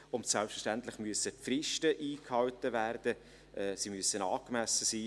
Und selbstverständlich müssen die Fristen eingehalten werden, und sie müssen angemessen sein;